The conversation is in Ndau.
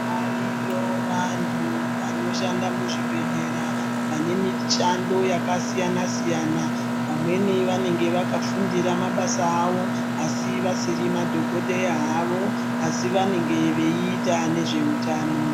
Variyo vantu vanoshanda muzvibhehlera vanomishando yakasiyansiyana vamweni vanenge vakafundira mabasa avo asi vasiri madhokodheya havo asi vanenge veita nezveutano.